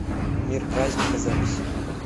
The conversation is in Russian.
мир праздника запись